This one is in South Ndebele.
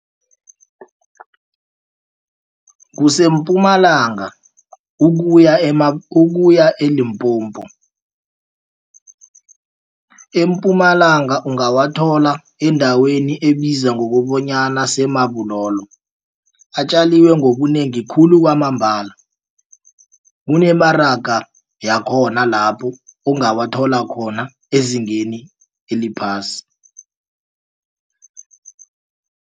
KuseMpumalanga ukuya e-Limpopo, eMpumalanga ungawathola endaweni ebizwa ngokobanyana se-Marble Halll atjeliwe ngobunengi khulu kwamambala. Kunemaraga yakhona lapho ongawathola khona ezingeni eliphasi.